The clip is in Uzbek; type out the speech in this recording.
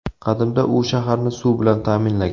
Qadimda u shaharni suv bilan ta’minlagan.